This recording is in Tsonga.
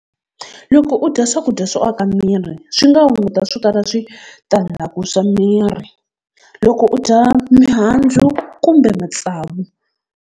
Loko u dya swakudya swo aka miri swi nga hunguta swo tala switandzhaku swa miri, loko u dya mihandzu kumbe matsavu.